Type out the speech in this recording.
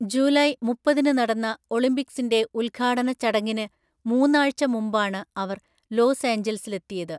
July മുപ്പതിന് നടന്ന ഒളിമ്പിക്‌സിന്റെ ഉദ്ഘാടന ചടങ്ങിന് മൂന്നാഴ്ച മുമ്പാണ് അവർ ലോസ് ഏഞ്ചൽസിലെത്തിയത്.